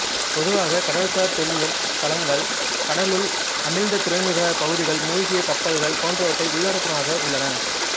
பொதுவாகக் கடல்சார் தொல்லியல் களங்கள் கடலுள் அமிழ்ந்த துறைமுகப் பகுதிகள் மூழ்கிய கப்பல்கள் போன்றவற்றை உள்ளடக்குவனவாக உள்ளன